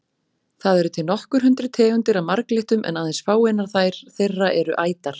Það eru til nokkur hundruð tegundir af marglyttum en aðeins fáeinar þeirra eru ætar.